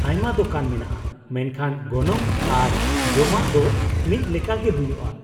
ᱟᱭᱢᱟ ᱫᱳᱠᱟᱱ ᱢᱮᱱᱟᱜᱼᱟ, ᱢᱮᱱᱠᱷᱟᱱ ᱜᱚᱱᱚᱝ ᱟᱨ ᱡᱚᱢᱟᱜ ᱫᱚ ᱢᱤᱫ ᱞᱮᱠᱟ ᱜᱮ ᱦᱩᱭᱩᱜᱼᱟ ᱾